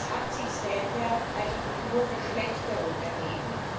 Es haben sich seither eigentlich nur Verschlechterungen ergeben.